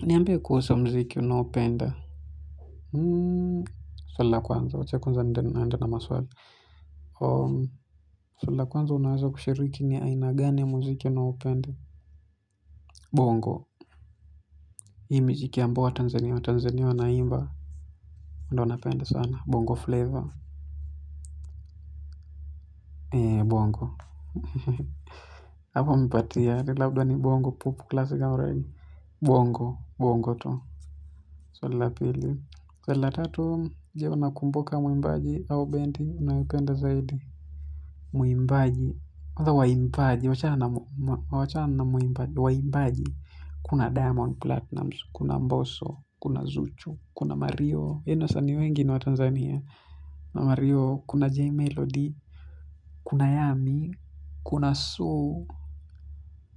Niambie kuwasa mziki unaupenda hmm suala kwanza wa cheku nza ndena ndena na maswagi om sula kwanza unawasa kushiriki ni aina gane mziki unaupenda bongo hii mziki ambao watanzania tanzania wanaimba ndo napenda sana bongo flavor ee bongo hapo mipatie ni labda ni bongo pupu klasika urengi bongo bongo tu sula pili sula tatu ya unakumboka mwimbaji au bendi unapenda zaidi. Muimbaji atha waimbaji. Wachana na muimbaji. Kuna diamond platinums. Kuna mboso. Kuna zuchu. Kuna mario. Kuna jmelody. Kuna yami. Kuna su.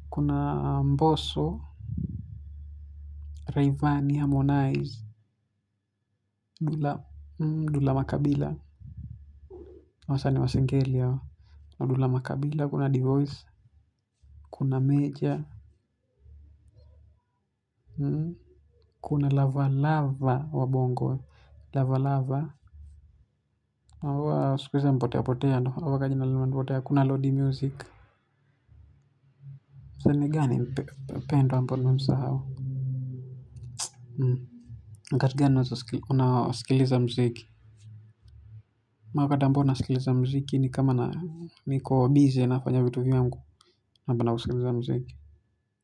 Kuna mboso Rayvani harmonize Dula makabila. Kuna divoiz. Kuna meja. Kuna lava lava. Wabongo Lava lava Waka jina luma nipote. Kuna lodi music Zene gani pendo. Una skiliza mziki Makata mbona skiliza mziki. Ni kama na niko Bize na fanya vitu viyangu.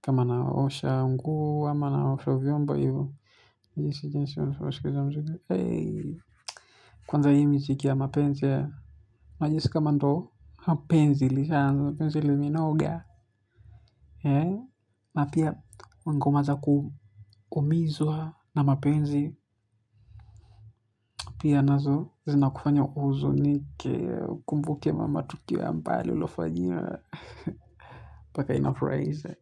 Kama naoshanguo kama na osha vyombo. Kwanza yi music ya mapenze majesika mando penzi li shanza, penzi li minoga hee mafya mangoma za kumizwa na mapenzi pia nazo zina kufanya uzunike kumbukia mama tukiwa mbali ulofajina paka inafraise.